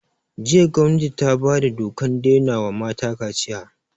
Jiya gwamnati ta bada dokan daina wa mata kaciya